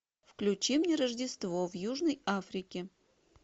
включи мне рождество в южной африке